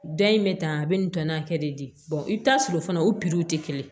Da in bɛ tan a bɛ nin tɔnɔ hakɛ de di i bɛ taa sɔrɔ fana o tɛ kelen ye